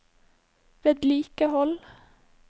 vedlikehold